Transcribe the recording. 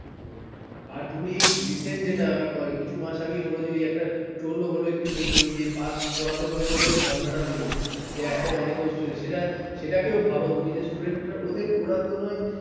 হ্যাঁ তুমি এই recent যেটা কিছু মাস আগে হল একটা troll হলেও একটা মেয়ে যে pass করাতে হবে বলে যে ধরনা টা দিল হ্যাঁ হ্যাঁ একবার একসাথে সেটা কেউ ভাবো তুমি যে student ওদের ওরা কোন